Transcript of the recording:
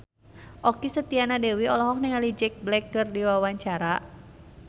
Okky Setiana Dewi olohok ningali Jack Black keur diwawancara